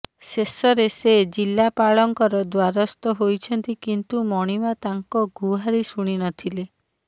ଶେଷରେ ସେ ଜିଲ୍ଲାପାଳଙ୍କର ଦ୍ୱାରସ୍ତ ହୋଇଛନ୍ତି କିନ୍ତୁ ମଣିମା ତାଙ୍କ ଗୁହାରୀ ଶୁଣିନଥିଲେ